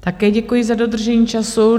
Také děkuji za dodržení času.